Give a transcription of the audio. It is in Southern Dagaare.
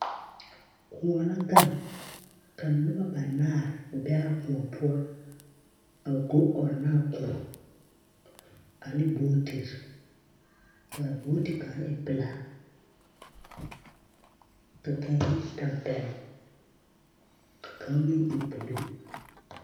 Kõɔ la gaŋ. Ka noba banaar a be a kõɔ poɔ a go ɔnnaa kõɔ ane bootir. Kaa booti kaŋa e pelaa ka kão yi ne tampɛloŋ, ka kão meŋ e buluu.